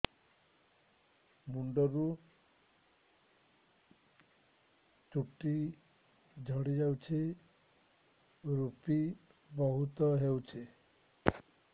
ମୁଣ୍ଡରୁ ଚୁଟି ଝଡି ଯାଉଛି ଋପି ବହୁତ ହେଉଛି